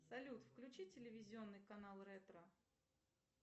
салют включи телевизионный канал ретро